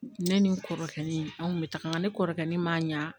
Ne ni n kɔrɔkɛ anw kun be taga ne kɔrɔkɛ ma ɲa